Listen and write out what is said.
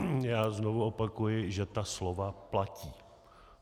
Já znovu opakuji, že ta slova platí.